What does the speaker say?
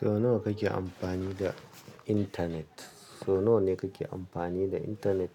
Sau nawa kake amfani da internet? Sau nawa ne kake amfani da internet?